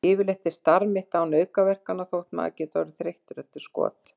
Yfirleitt er starf mitt án aukaverkana þótt maður geti orðið þreyttur eftir skot.